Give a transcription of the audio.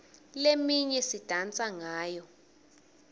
leminye sidansa ngayo